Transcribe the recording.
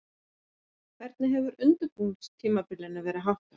Hvernig hefur undirbúningstímabilinu verið háttað?